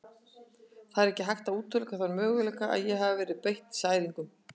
Það er ekki hægt að útiloka þann möguleika að ég hafi verið beitt særingum.